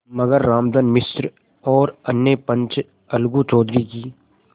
मगर रामधन मिश्र और अन्य पंच अलगू चौधरी की